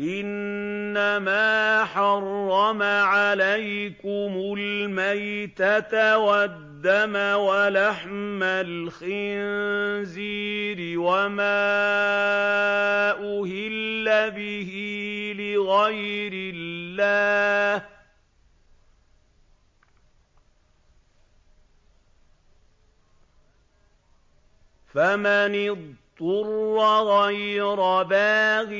إِنَّمَا حَرَّمَ عَلَيْكُمُ الْمَيْتَةَ وَالدَّمَ وَلَحْمَ الْخِنزِيرِ وَمَا أُهِلَّ بِهِ لِغَيْرِ اللَّهِ ۖ فَمَنِ اضْطُرَّ غَيْرَ بَاغٍ